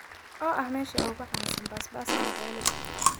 oo ah meesha ugu caansan basbaaska magaalada